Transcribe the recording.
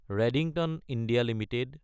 Redington India Ltd